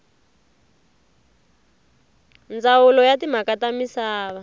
ndzawulo ya timhaka ta misava